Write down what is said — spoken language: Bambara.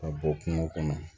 Ka bɔ kungo kɔnɔ